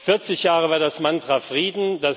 Vierzig Jahre lang war das Mantra Frieden.